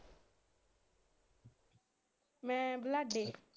ਮੈ ਬਲਾਡੇ।